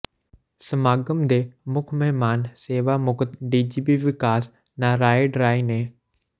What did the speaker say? ਸਮਾਗਮ ਦੇ ਮੁੱਖ ਮਹਿਮਾਨ ਸੇਵਾ ਮੁਕਤ ਡੀਜੀਪੀ ਵਿਕਾਸ ਨਾਰਾਇਣ ਰਾਇ ਨੇ ਡਾ